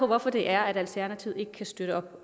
hvorfor det er at alternativet ikke kan støtte op